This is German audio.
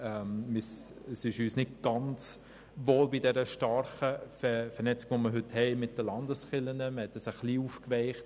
Mit der starken Vernetzung, die wir heute mit dem Gesetz über die bernischen Landeskirchen (Kirchengesetz, KG) haben, ist uns nicht ganz wohl.